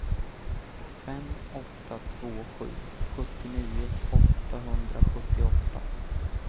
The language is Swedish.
fem åtta två sju sjuttionio åttahundrasjuttioåtta